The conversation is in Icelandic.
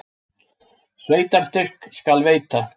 Sveitarstyrk skal veita!